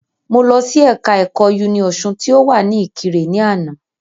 Mo lọ sí ẹ̀ka ẹ̀kọ́ Uniosun tí o wa ni ìkirè ni àná